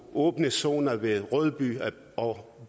åbne zoner ved rødby og